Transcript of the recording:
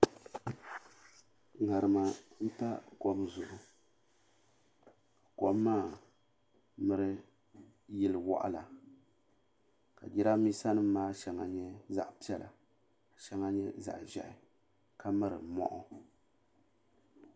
Ŋarima m pa kom zuɣu kom maa miri yili woɣala ka jirambisa nima maa shɛŋa nyɛ zaɣa piɛla ka shɛŋa nyɛ zaɣa ʒɛhi ka miri moɣu.